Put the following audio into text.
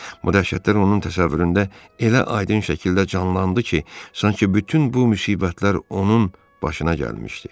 Bu dəhşətlər onun təsəvvüründə elə aydın şəkildə canlandı ki, sanki bütün bu müsibətlər onun başına gəlmişdi.